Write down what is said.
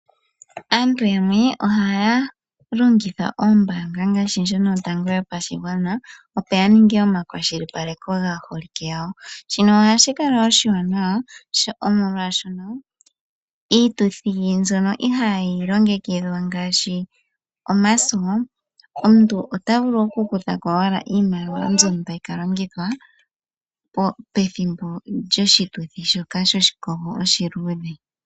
Aantu yamwe ohaya longitha oombaanga ngaashi ndjono yotango yopashigwana opo yaninge omakwashilipaleko gaaholike yawo, shino ohashikala oshiwanawa molwashono iituthi mbyono ihayi longekidhwa ngaashi omaso, omuntu ota vulu okukuthako owala iimaliwa mbyono tayi kalongithwa pethimbo lyoshituthi shoka oshiluudhe.